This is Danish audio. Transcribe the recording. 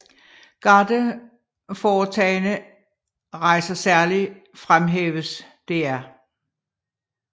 Garde foretagne rejser særlig fremhæves dr